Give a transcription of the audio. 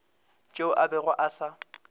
tšeo a bego a sa